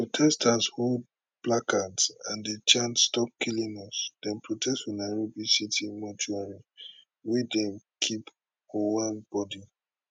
protesters hold placards and dey chant stop killing us dem protest for nairobi city mortuary wia dem keep ojwang body